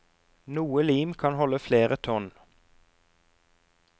Noe lim kan holde flere tonn.